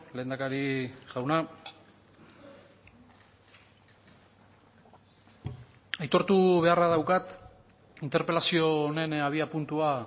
lehendakari jauna aitortu beharra daukat interpelazio honen abiapuntua